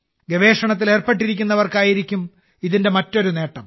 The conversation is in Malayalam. ഗവേഷണത്തിൽ ഏർപ്പെട്ടിരിക്കുന്നവർക്കായിരിക്കും ഇതിന്റെ മറ്റൊരു നേട്ടം